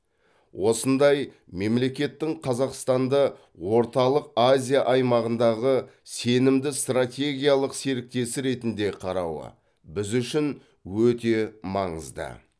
осындай мемлекеттің қазақстанды орталық азия аймағындағы сенімді стратегиялық серіктесі ретінде қарауы біз үшін өте маңызды